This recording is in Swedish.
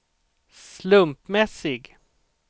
slumpmässig